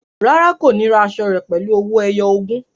Rárá, kò ní ra aṣọ rẹ pẹ̀lú owó ẹyọ ogún